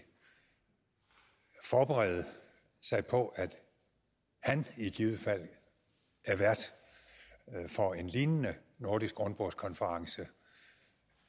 forberede sig på at han i givet fald er vært for en lignende nordisk rundbordskonference